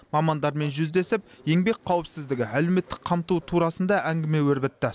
мамандармен жүздесіп еңбек қауіпсіздігі әлеуметтік қамту турасында әңгіме өрбітті